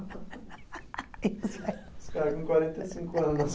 Os caras com quarenta e cinco anos.